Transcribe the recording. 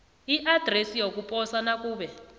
iadresi yokuposa nakube